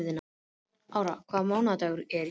Ára, hvaða mánaðardagur er í dag?